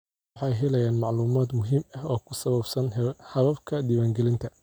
Dadku waxay helayaan macluumaad muhiim ah oo ku saabsan hababka diiwaangelinta.